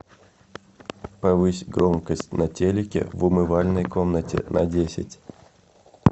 повысь громкость на телике в умывальной комнате на десять